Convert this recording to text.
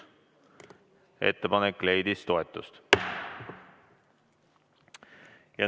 Ettepanek leidis toetust.